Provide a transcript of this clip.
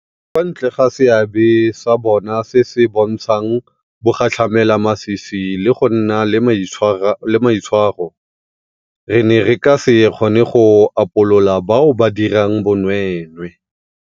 Kwa ntle ga seabe sa bona se se bontshang bogatlhamelamasisi le go nna le maitshwaro, re ne re ka se kgone go upolola bao ba dirang bonweenwee.